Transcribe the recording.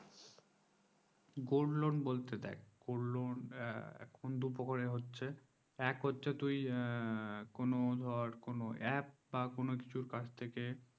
gold loan বলতে দেখ gold loan দুই প্রকারে হচ্ছে এক হচ্ছে তুই কোন ধর app কোন কিছু কাছ থেকে